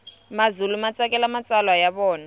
mazulu matsakela matsalwa yavona